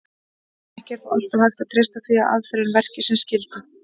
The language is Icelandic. Ekki er þó alltaf hægt að treysta því að aðferðin verki sem skyldi.